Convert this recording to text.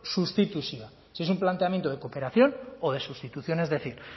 sustituzioa si es un planteamiento de cooperación o de sustitución es decir